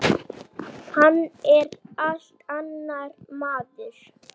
Hann er allt annar maður.